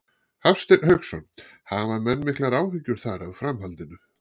Hafsteinn Hauksson: Hafa menn miklar áhyggjur þar af framhaldinu?